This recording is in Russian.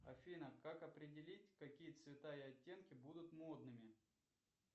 афина как определить какие цвета и оттенки будут модными